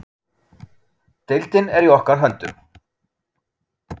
Deildin er í okkar höndum.